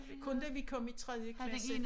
Kun da vi kom i tredje klasse